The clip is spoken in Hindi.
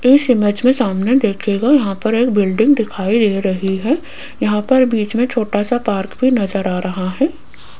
इस इमेज में सामने देखिएगा यहां पर एक बिल्डिंग दिखाई दे रही है यहां पर बीच में छोटा सा पार्क भी नजर आ रहा है।